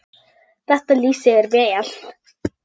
Þetta lýsir þér vel.